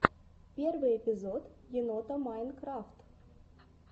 первый эпизод енота майнкрафт